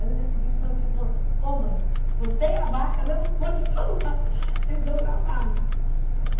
Aí no dia seguinte meu filho falou, pô mãe, você e a vaca não, vou te falar, vocês dão trabalho.